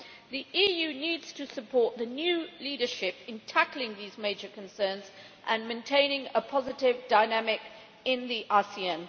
The EU needs to support the new leadership in tackling these major concerns and maintaining a positive dynamic in the ASEAN.